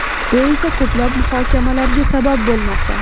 Bu esa ko‘plab muhokamalarga sabab bo‘lmoqda.